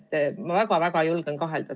Ma julgen selles väga-väga kahelda.